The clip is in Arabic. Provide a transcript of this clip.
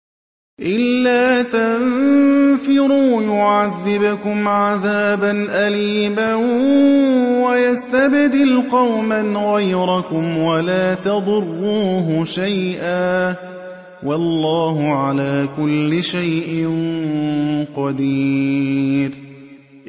إِلَّا تَنفِرُوا يُعَذِّبْكُمْ عَذَابًا أَلِيمًا وَيَسْتَبْدِلْ قَوْمًا غَيْرَكُمْ وَلَا تَضُرُّوهُ شَيْئًا ۗ وَاللَّهُ عَلَىٰ كُلِّ شَيْءٍ قَدِيرٌ